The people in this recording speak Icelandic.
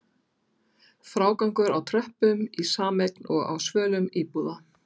Frágangur á tröppum í sameign og á svölum íbúða?